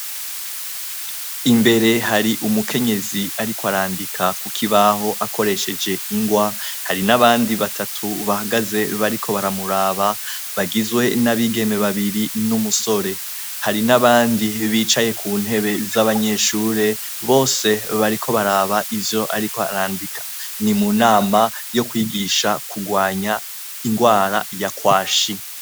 Imbere har' umukenyez' arik' arandika kukibah' akoresheje ingwa, hari n' abandi batatu bahagaze bariko baramuraba bagizwe n' abigeme babiri n' umusore, hari n' abandi bicaye ku ntebe za banyeshure bose bariko barab' ivy'arik' arandika, ni munama yokwigisha kugwany' ingwara yakwashi.